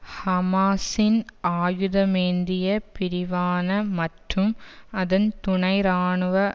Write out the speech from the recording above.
ஹமாஸின் ஆயுதமேந்திய பிரிவான மற்றும் அதன் துணை இராணுவ